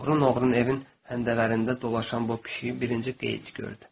Oğrun-oğrun evin həndəvərlərində dolaşan bu pişiyi birinci Geyç gördü.